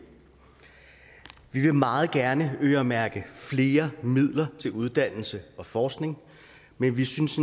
vi vil meget gerne øremærke flere midler til uddannelse og forskning men vi synes